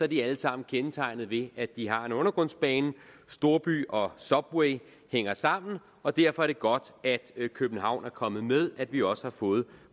de alle sammen kendetegnet ved at de har en undergrundsbane storby og subway hænger sammen og derfor er det godt at københavn er kommet med at vi også har fået